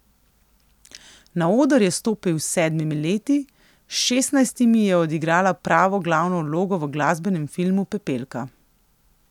Na oder je stopil s sedmimi leti, s šestnajstimi je odigrala pravo glavno vlogo v glasbenem filmu Pepelka.